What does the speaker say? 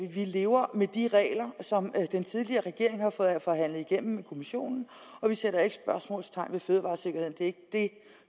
vi lever med de regler som den tidligere regering har fået forhandlet igennem med kommissionen og vi sætter ikke spørgsmålstegn ved fødevaresikkerheden det er ikke det